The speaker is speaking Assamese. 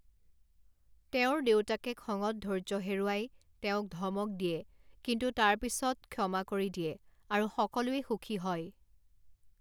তেওঁৰ দেউতাকে খঙত ধৈৰ্য হেৰুৱাই তেওঁক ধমক দিয়ে কিন্তু তাৰ পিছত ক্ষমা কৰি দিয়ে আৰু সকলোৱে সুখী হয়।